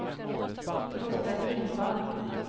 Robert Lindvall